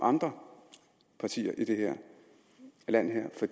andre partier i det her land for